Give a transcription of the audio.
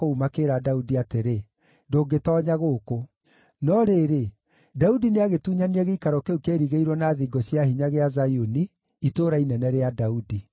makĩĩra Daudi atĩrĩ, “Ndũngĩtoonya gũkũ.” No rĩrĩ, Daudi nĩagĩtunyanire gĩikaro kĩu kĩairigĩirwo na thingo cia hinya gĩa Zayuni, Itũũra Inene rĩa Daudi.